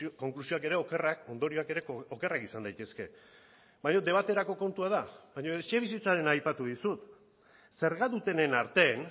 konklusioak ere okerrak ondorioak ere okerrak izan daitezke baina debaterako kontua da baina etxebizitzarena aipatu dizut zerga dutenen artean